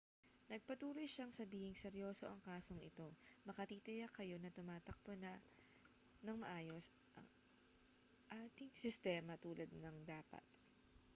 nagpatuloy siyang sabihing seryoso ang kasong ito makatitiyak kayo na tumatakbo nang maayos ang ating sistema tulad ng dapat